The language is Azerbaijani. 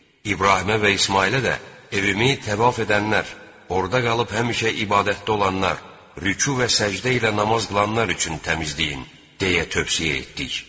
İbrahimə və İsmayıla da evimi təvaf edənlər, orda qalıb həmişə ibadətdə olanlar, rüku və səcdə ilə namaz qılanlar üçün təmizləyin deyə tövsiyə etdik.